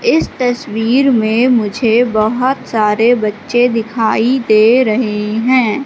इस तस्वीर में मुझे बहुत सारे बच्चे दिखाई दे रहे है।